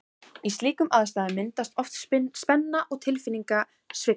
Í slíkum aðstæðum myndast oft spenna og tilfinningasveiflur.